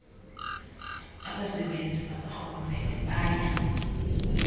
abasebenzi bakarhulumente baya